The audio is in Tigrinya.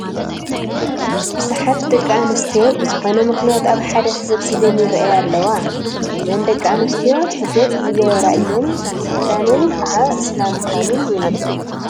ብዙሓት ደቂ ኣንስትዮ ብዝኾነ ምኽንያት ኣብ ሓደ ተሰባሲበን ይርአያ ኣለዋ፡፡ እዘን ደቂ ኣንስትዮ ሕጃብ ዝገበራ እየን፡፡ እዚ ክዳነን ከዓ እስላም ምዃነን የመልክት፡፡